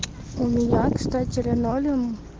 у меня кстати линолеум